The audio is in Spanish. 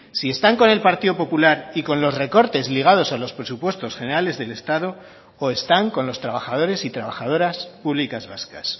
si están con el partido popular y con los recortes ligados a los presupuestos generales del estado o están con los trabajadores y trabajadoras públicas vascas